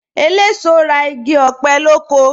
Eléso ra igi ọ̀pẹ lóko